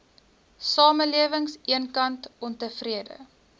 samelewing eenkant ontevrede